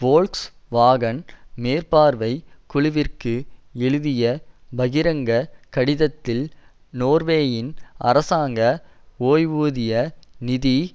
Volkswagen மேற்பார்வை குழுவிற்கு எழுதிய பகிரங்க கடிதத்தில் நோர்வேயின் அரசாங்க ஓய்வூதிய நிதி